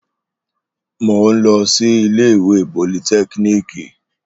Mò ń lọ sí ilé ìwé politẹ́kíníìkì